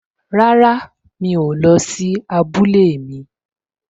Rárá, mi ò lọ sí abúlé mi